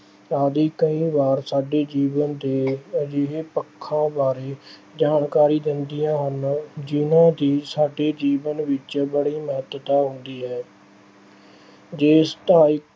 ਕਈ ਵਾਰ ਸਾਡੇ ਜੀਵਨ ਦੇ ਅਜਿਹੇ ਪੱਖਾਂ ਬਾਰੇ ਜਾਣਕਾਰੀ ਦਿੰਦੀਆਂ ਹਨ ਜਿਹਨਾਂ ਦੀ ਸਾਡੇ ਜੀਵਨ ਵਿੱਚ ਬੜੀ ਮਹਤੱਤਾ ਹੁੰਦੀ ਹੈ। ਜੇ